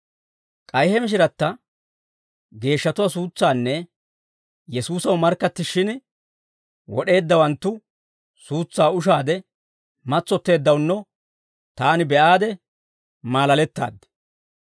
K'ay he mishiratta geeshshatuwaa suutsaanne Yesuusaw markkattishshin wod'eeddawanttu suutsaa ushaade matsotteeddawunno taani be'aade malalettaaddi.